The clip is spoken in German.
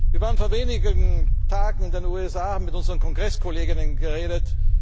nehmen! Wir waren vor wenigen Tagen in den USA und haben mit unseren KongresskollegInnen geredet.